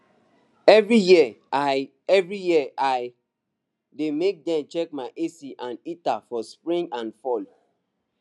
every year i every year i dey make dem check my ac and heater for spring and fall